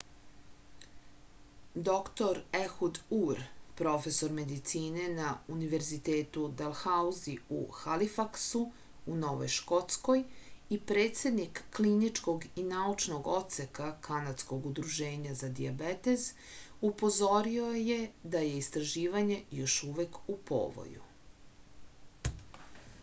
dr ehud ur profesor medicine na univerzitetu dalhauzi u halifaksu u novoj škotskoj i predsednik kliničkog i naučnog odseka kanadskog udruženja za dijabetes upozorio je da je istraživanje još uvek u povoju